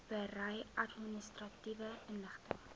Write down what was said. berei administratiewe inligting